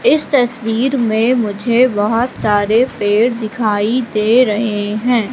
इस तस्वीर में मुझे बहोत सारे पेड़ दिखाई दे रहें हैं।